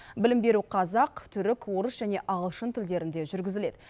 білім беру қазақ түрік орыс және ағылшын тілдерінде жүргізіледі